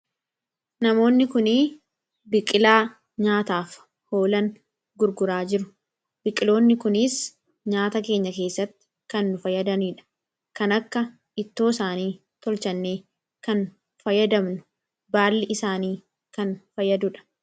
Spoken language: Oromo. namoonni kunii biqilaa nyaataaf hoolan gurguraa jiru biqiloonni kuniis nyaata keenya keessatti kannu fayyadamniidha kan akka ittoo isaanii tolchannee kan fayyadamnu baalli isaanii kan fayyaduudha